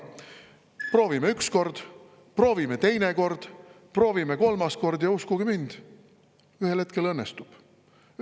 Proovime üks kord, proovime teine kord, proovime kolmas kord – ja uskuge mind, ühel hetkel õnnestub.